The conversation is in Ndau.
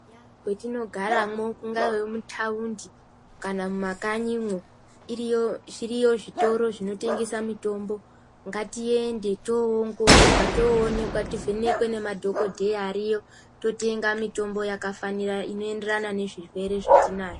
Eya kwetinogaramwo, mungaa mumataundi kana mumakanyimwo zviriyo zvitoro zvinotengesa mitombo. Ngatiende towongororwa tivhenekwe nemadhokodheya ariyo totenga mitombo yakafanira inoenderana nezvirwere zvatinazvo.